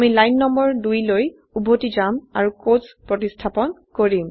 আমি line number ২লৈ উভতি যাম আৰু কোটছ প্ৰতিস্থাপন কৰিম